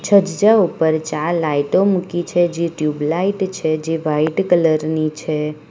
છત જ ઉપર ચાર લાઈટો મૂકી છે જે ટ્યુબ લાઈટ છે જે વાઈટ કલર ની છે.